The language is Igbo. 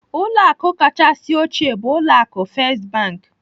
Ụlọ akụ kachasị ochie bụ ụlọ akụ First Bank.